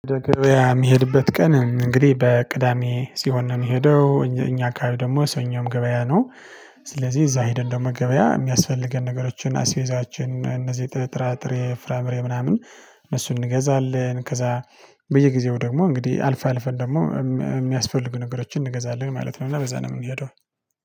ገበያ የሚሄድበት ቀን እንግዲህ በቅዳሜ ሲሆን ነው የሚሄደው እኛ አካባቢ ደግሞ ሰኞም ገበያ ነው። ስለዚህ እዛ ሄደን እንደው ገበያ የሚያስፈልገን ነገሮችን አስቤዛችን እነዚህ ጥራጥሬ ፍራምሬ ምናምን እነሱን እንገዛለን። ከዛ በየጊዜው ደግሞ እንግዲህ አልፈ አልፈን ደግሞ የሚያስፈልጉ ነገሮችን እንገዛለን ማለት ነው። እና በዛ ነው የምንሄደው